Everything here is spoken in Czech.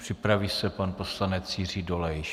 Připraví se pan poslanec Jiří Dolejš.